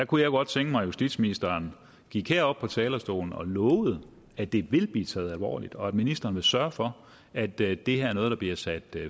kunne godt tænke mig at justitsministeren gik herop på talerstolen og lovede at det vil blive taget alvorligt og at ministeren vil sørge for at det det her er noget der bliver sat